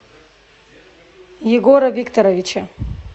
егора викторовича